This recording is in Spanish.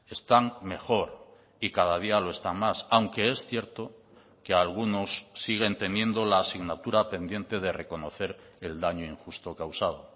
están mejor y cada día lo están más aunque es cierto que algunos siguen teniendo la asignatura pendiente de reconocer el daño injusto causado